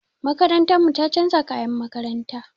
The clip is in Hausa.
Makarantar mu ta chanza kayan makaranta.